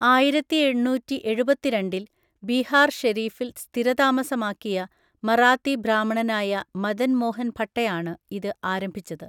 ആയിരത്തിഎണ്ണൂറ്റിഎഴുപത്തിരണ്ടിൽ ബീഹാർ ഷെരീഫിൽ സ്ഥിരതാമസമാക്കിയ മറാത്തി ബ്രാഹ്മണനായ മദൻ മോഹൻ ഭട്ടയാണ് ഇത് ആരംഭിച്ചത്.